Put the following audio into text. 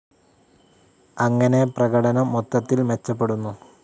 അങ്ങനെ പ്രകടനം മൊത്തത്തിൽ മെച്ചപ്പെടുന്നു.